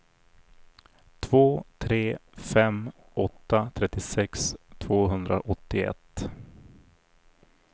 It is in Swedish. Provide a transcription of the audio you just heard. två tre fem åtta trettiosex tvåhundraåttioett